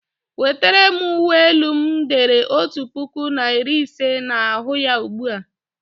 Wetere'm uwe elu m e dere otu puku na iri ise na ahu ya ugbu a!